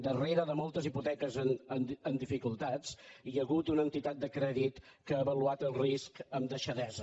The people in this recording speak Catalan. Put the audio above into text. darrere de moltes hipoteques amb dificultats hi ha hagut una entitat de crèdit que ha avaluat el risc amb deixadesa